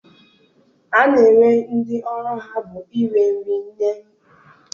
A na-enwe ndị ọrụ ha bụ ire nri na n'ime ụgbọ elu mgbe niile.